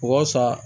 Waasa